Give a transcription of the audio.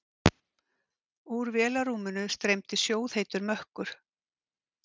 Úr vélarrúminu streymdi sjóðheitur mökkur.